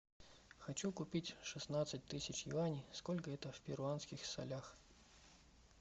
хочу купить шестнадцать тысяч юаней сколько это в перуанских солях